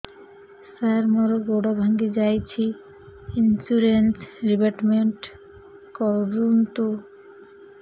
ସାର ମୋର ଗୋଡ ଭାଙ୍ଗି ଯାଇଛି ଇନ୍ସୁରେନ୍ସ ରିବେଟମେଣ୍ଟ କରୁନ୍ତୁ